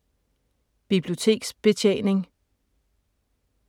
Biblioteksbetjening